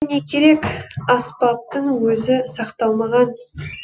не керек аспаптың өзі сақталмаған